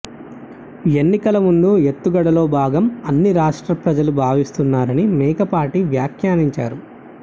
ఎన్నికల ముందు ఎత్తుగడలో భాగం అని రాష్ట్ర ప్రజలు భావిస్తున్నారని మేకపాటి వ్యాఖ్యానించారు